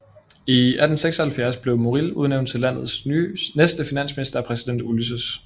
I 1876 blev Morrill udnævnt til landets næste finansminister af præsident Ulysses S